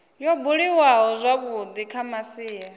yo buliwaho zwavhui kha masia